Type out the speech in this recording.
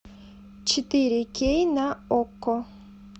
четыре кей на окко